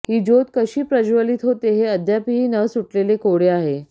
ही ज्योत कशी प्रज्वलीत होते हे अद्यापीही न सुटलेले कोडे आहे